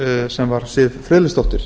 sem var siv friðleifsdóttir